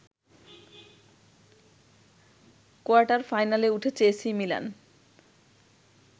কোয়ার্টার-ফাইনালে উঠেছে AC Milan